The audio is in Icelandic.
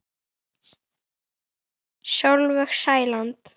Af hverju húkirðu þarna?